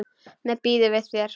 Mér býður við þér.